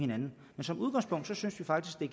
men som udgangspunkt synes vi faktisk at